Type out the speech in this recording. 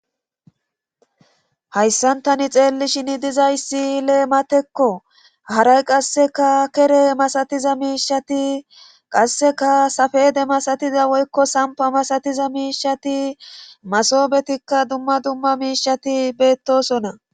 hayssan tani xeellishin dizayssi lee matekko haray qasseka kere masatiza miishati qasseka safede masatiza woykko sampa masatiza miishati masobetikka dumma dumma miishati beettosona